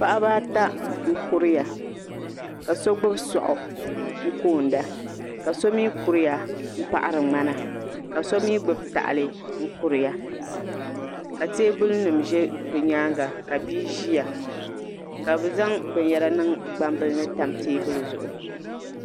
paɣaba ata n kuriya ka so gnubi soɣu n koo da ka so mi kuriya n paɣari mŋana ka so mi gbubi tahili n kuriya ka teebuli nim zɛ bi nyaanga ka bia ʒia ka bi zaŋ binyara niŋ gbambili ni tam teebuli zuɣu.